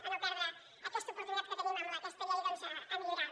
a no perdre aquesta oportunitat que tenim amb aquesta llei a millorar la